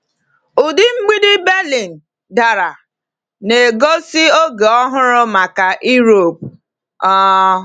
Ụdị mgbidi Berlin dara, na-egosi oge ọhụrụ maka Europe. um